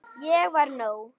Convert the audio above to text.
Ég var nóg.